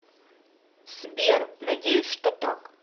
сбер надеюсь что так